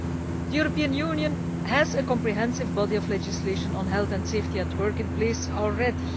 The European Union has a comprehensive body of legislation on health and safety at work in place already.